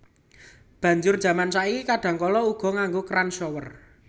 Banjur jaman saiki kadhangkala uga nganggo kran shower